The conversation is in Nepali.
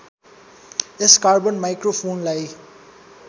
यस कार्बन माइक्रोफोनलाई